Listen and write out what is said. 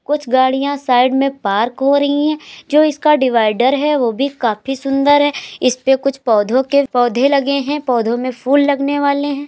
कुछ गाड़ियां साइड में पार्क हो रही हैं। जो इसका डिवाइडर है वो भी काफी सुंदर है। इसपे कुछ पौधों के पौधे लगे हैं पौधों में फूल लगने वाले हैं।